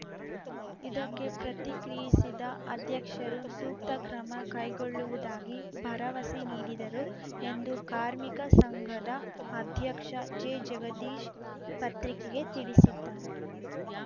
ಇದಕ್ಕೆ ಪ್ರತಿಕ್ರಿಯಿಸಿದ ಅಧ್ಯಕ್ಷರು ಸೂಕ್ತ ಕ್ರಮ ಕೈಗೊಳ್ಳುವುದಾಗಿ ಭರವಸೆ ನೀಡಿದರು ಎಂದು ಕಾರ್ಮಿಕ ಸಂಘದ ಅಧ್ಯಕ್ಷ ಜೆ ಜಗದೀಶ್‌ ಪತ್ರಿಕೆಗೆ ತಿಳಿಸಿದ್ದಾರೆ